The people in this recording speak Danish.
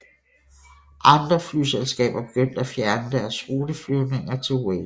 Andre flyselskaber begyndte at fjerne deres ruteflyvninger til Wake